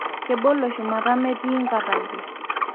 kebolo shumata metii inkatamboo.